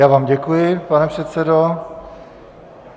Já vám děkuji, pane předsedo.